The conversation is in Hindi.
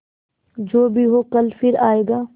जो भी हो कल फिर आएगा